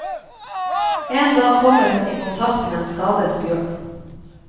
En dag kommer hun i kontakt med en skadet bjørn.